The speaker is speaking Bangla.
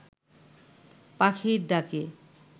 পাখির ডাকে